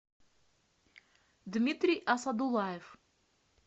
дмитрий асадулаев